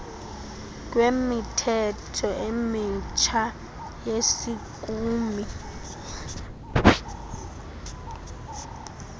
kwemithetho emitsha yesikimu